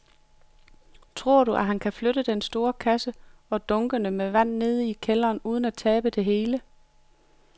Tror du, at han kan flytte den store kasse og dunkene med vand ned i kælderen uden at tabe det hele?